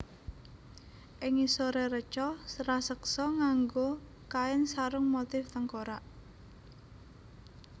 Ing ngisoré reca raseksa nganggo kain sarung motif tengkorak